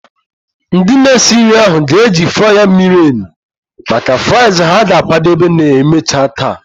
Ndị na-esi nri ahụ ga-eji fryer miri emi maka fries ha ga-akwadebe ma emechaa taa.